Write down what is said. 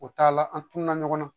O t'a la an tunna ɲɔgɔn na